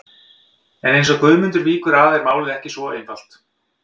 En eins og Guðmundur víkur að er málið ekki svo einfalt.